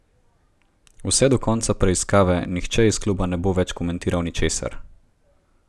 Vse do konca preiskave nihče iz kluba ne bo več komentiral ničesar.